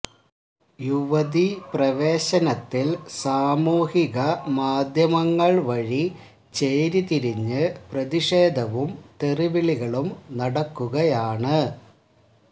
യുവതി പ്രവേശനത്തില് സാമൂഹിക മാധ്യമങ്ങള് വഴി ചേരി തിരിഞ്ഞ് പ്രതിഷേധവും തെറി വിളികളും നടക്കുകയാണ്